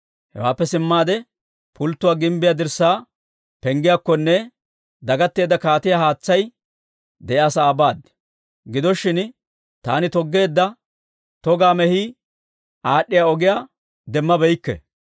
Hewaappe simmaade, Pulttuwaa gimbbiyaa dirssaa Penggiyaakkonne dagatteedda kaatiyaa haatsay de'iyaa sa'aa baad. Gido shin, taani toggeedda togaa mehii aad'd'iyaa ogiyaa demmabeykke.